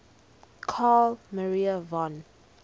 carl maria von